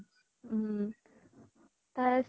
উম । তাত